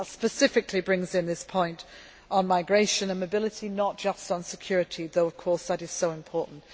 That specifically brings in this point on migration and mobility not just on security, although of course that is very important.